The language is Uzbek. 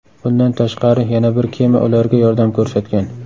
Bundan tashqari yana bir kema ularga yordam ko‘rsatgan.